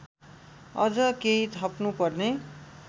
अझ केही थप्नुपर्ने